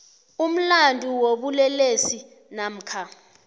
umlandu wobulelesi namkha